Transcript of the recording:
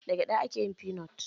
Da gyada ake yin feanut.